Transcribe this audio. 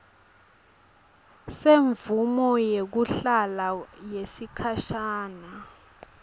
semvumo yekuhlala yesikhashana